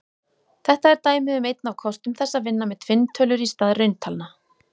Þetta er dæmi um einn af kostum þess að vinna með tvinntölur í stað rauntalna.